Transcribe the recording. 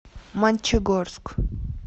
мончегорск